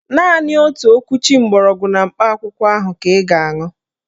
Naanị otu okwuchi gbọrọgwụ na mkpa akwụkwọ ahụ ka ị ga-aṅụ